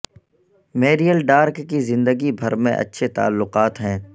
میئریل ڈارک کی زندگی بھر میں اچھے تعلقات ہیں